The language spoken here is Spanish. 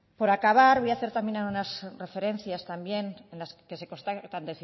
por acabar voy a hacer unas referencias también en las que se constatan